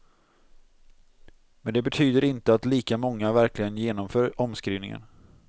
Men det betyder inte att lika många verkligen genomför omskrivningen.